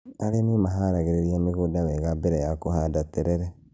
Arĩmi maharagĩrĩria mĩgũnda wega mbere ya kũhanda terere